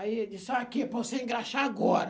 Aí ele disse, olha aqui, é para você engraxar agora.